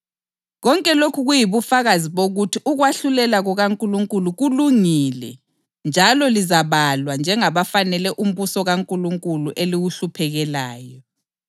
Kumele sibonge uNkulunkulu kokuphela ngenxa yenu bazalwane njengoba kufanele ngoba ukholo lwenu lukhula kokuphela lothando elilalo komunye lomunye wenu luyanda.